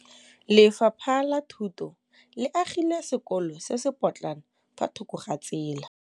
Lefapha la Thuto le agile sekôlô se se pôtlana fa thoko ga tsela.